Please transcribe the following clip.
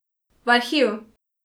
V arhiv.